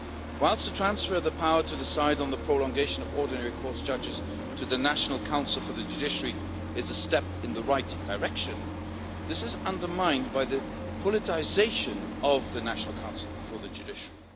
Whilst the transfer of the power to decide on the prolongation of ordinary courts judges to the National Council for the Judiciary is a step in the right direction, this is undermined by the politicisation of the National Council for the judiciary.